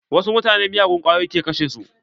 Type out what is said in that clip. Wasu mutanen miyagun kwayoyi ke kashe su.